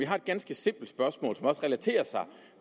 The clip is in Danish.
har et ganske simpelt spørgsmål som også relaterer sig